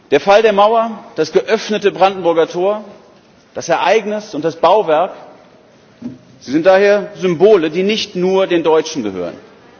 Der Fall der Mauer, das geöffnete Brandenburger Tor das Ereignis und das Bauwerk sind daher Symbole, die nicht nur den Deutschen gehören